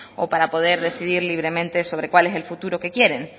o para poder decidir libremente sobre cuál es el futuro que quieren